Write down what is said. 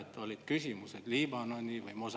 Juhtivkomisjoni ettepanek on viia läbi eelnõu 486 lõpphääletus.